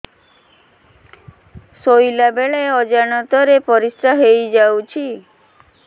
ଶୋଇଲା ବେଳେ ଅଜାଣତ ରେ ପରିସ୍ରା ହେଇଯାଉଛି